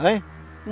Hã?